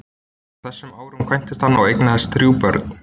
Á þessum árum kvæntist hann og eignaðist þrjú börn.